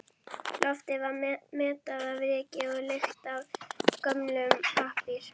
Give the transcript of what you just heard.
Loftið var mettað af ryki og lykt af gömlum pappír.